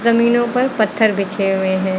जमीनों पर पत्थर बिछे हुए हैं।